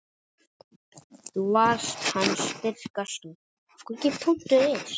Þú varst hans styrka stoð.